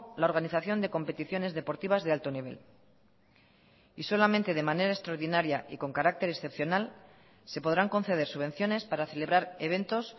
la organización de competiciones deportivas de alto nivel y solamente de manera extraordinaria y con carácter excepcional se podrán conceder subvenciones para celebrar eventos